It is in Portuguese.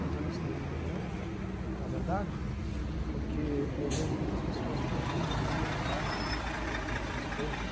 Quer dizer, eu misturei um no outro, na verdade, porque eu vejo muitas pessoas fugirem da realidade e das suas coisas.